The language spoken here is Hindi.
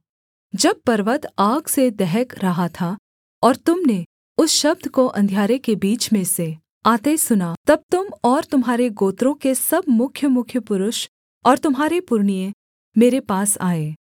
जब पर्वत आग से दहक रहा था और तुम ने उस शब्द को अंधियारे के बीच में से आते सुना तब तुम और तुम्हारे गोत्रों के सब मुख्यमुख्य पुरुष और तुम्हारे पुरनिए मेरे पास आए